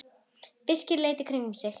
Birkir leit í kringum sig.